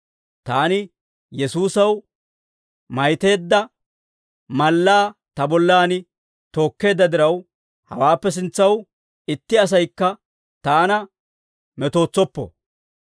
Taani Yesuusaw maytteedda mallaa ta bollan tokkeedda diraw, hawaappe sintsaw itti asaykka taana metootsoppo.